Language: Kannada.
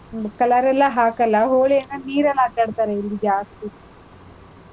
ಹ್ಮ್, color ಎಲ್ಲಾ ಹಾಕಲ್ಲ, ಹೋಳಿಯೆಲ್ಲಾ ನೀರಲ್ ಆಟಾಡ್ತರೆ ಇಲ್ಲಿ ಜಾಸ್ತಿ.